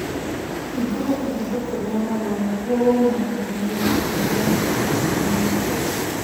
hingũra ithandũkũ rĩa marũa nĩguo wone ndũmĩrĩri ĩrĩa ĩtathometũo